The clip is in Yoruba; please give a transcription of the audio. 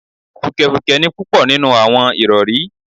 Fùkẹ̀fùkẹ̀ ni púpọ̀ nínú àwọn ìrọ̀rí